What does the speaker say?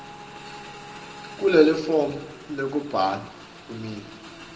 kulelifomu lekubhala kweminwe